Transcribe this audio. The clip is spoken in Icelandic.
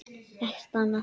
Ekkert annað?